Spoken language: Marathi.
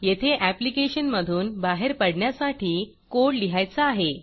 येथे ऍप्लिकेशन मधून बाहेर पडण्यासाठी कोड लिहायचा आहे